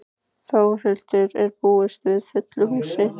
Þórhildur, er búist við fullu húsi?